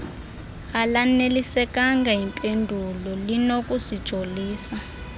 alanelisekanga yimpendulo linokusijolisa